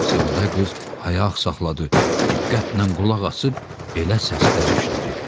Şahzadə qız ayaq saxladı, diqqətlə qulaq asıb belə səslər eşitdi.